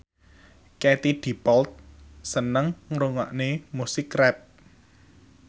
Katie Dippold seneng ngrungokne musik rap